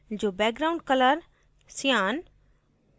जो background color cyan